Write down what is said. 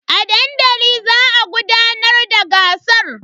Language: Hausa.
A dandali za a gudanar da gasar.